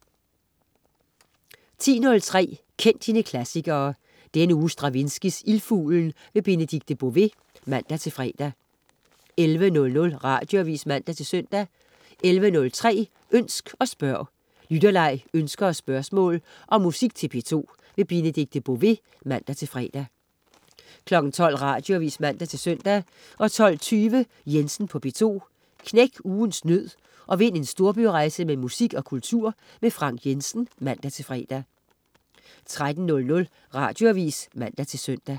10.03 Kend dine klassikere. Denne uge Stravinskys Ildfuglen. Benedikte Bové (man-fre) 11.00 Radioavis (man-søn) 11.03 Ønsk og spørg. Lytterleg, ønsker og spørgsmål om musik til P2. Benedikte Bové (man-fre) 12.00 Radioavis (man-søn) 12.20 Jensen på P2. Knæk ugens nød og vind en storbyrejse med musik og kultur. Frank Jensen (man-fre) 13.00 Radioavis (man-søn)